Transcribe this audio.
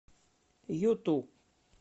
юту